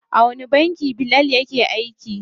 A wani banki Bilal yake aiki?